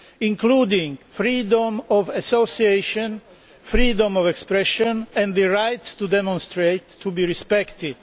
including freedom of association, freedom of expression and the right to demonstrate, to be respected